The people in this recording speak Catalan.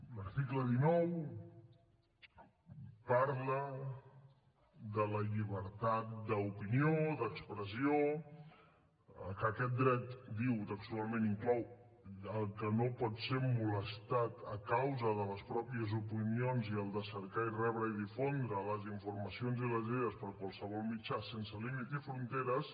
l’article dinou parla de la llibertat d’opinió d’expressió que aquest dret diu textualment inclou el que no pots ser molestat a causa de les pròpies opinions i el de cercar i rebre i difondre les informacions i les idees per qualsevol mitjà sense límit i fronteres